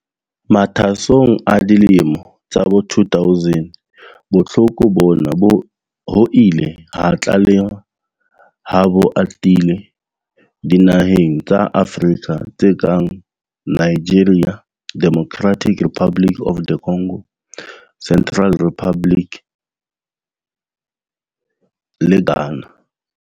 Mathwasong a dilemo tsa bo 2000, bohloko bona ho ile ha tlalehwa ha bo atile dinaheng tsa Afrika tse kang Nigeria, Democratic Republic of the Congo, Central African Republic le Ghana.